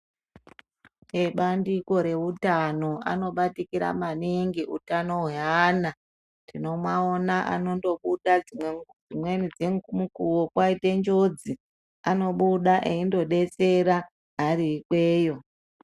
Ebandiko reutano anobatikira maningi utano hwevana tinomaona anongobuda dzimweni dzemukuwo paita njodzi anobuda eindodetsera ari ikweyo.